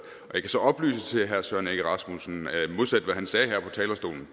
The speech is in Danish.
kan så oplyse til herre søren egge rasmussen at modsat det han sagde her på talerstolen